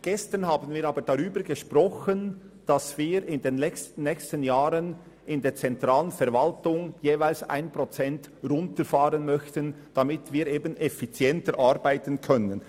Gestern haben wir aber darüber gesprochen, dass wir in den nächsten Jahren in der zentralen Verwaltung jeweils um 1 Prozent runterfahren möchten, damit wir effizienter arbeiten können.